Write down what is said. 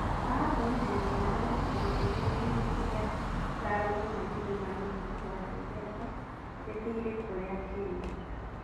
Aratũmĩrire mĩhano ya ciama igĩrĩ nene iria cikarũgama gĩthurano mweri wa dithemba kĩthiri kũrĩa Kenya.